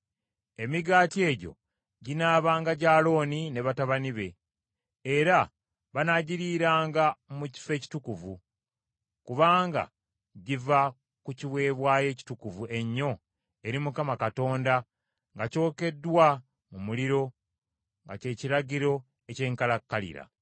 Emigaati egyo ginaabanga gya Alooni ne batabani be, era banaagiriiranga mu kifo ekitukuvu, kubanga giva ku kiweebwayo ekitukuvu ennyo eri Mukama Katonda nga kyokeddwa mu muliro nga kye kiragiro eky’enkalakkalira.”